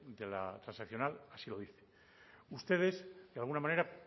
de la transaccional así lo dice ustedes de alguna manera